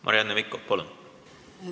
Marianne Mikko, palun!